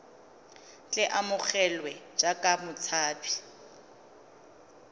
tle a amogelwe jaaka motshabi